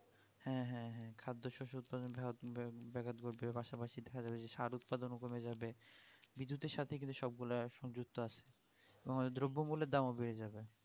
হ্যাঁ হ্যাঁ হ্যাঁ খাদ্যশস্যে উৎপাদন ধরো ব্যাঘাত ঘটবে পাশাপাশি সার উৎপাদনও কমে যাবে বিদ্যুতের সাথে কিন্তু সবগুলার সংযুক্ত আছে এবং দ্রব্যমূল্যের দাম ও বেড়ে যাবে